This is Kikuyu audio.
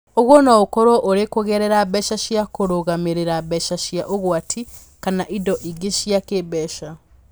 Ũguo no ũkorũo ũrĩ kũgerera mbeca cia kũrũgamĩrĩra, mbeca cia ũgwati, kana indo ingĩ cia kĩĩmbeca.